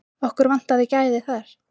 Okkur vantaði gæði þar.